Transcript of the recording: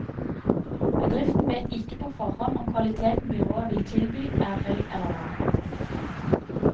Bedriften vet ikke på forhånd om kvaliteten byrået vil tilby er høy eller lav.